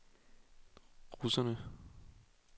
russerne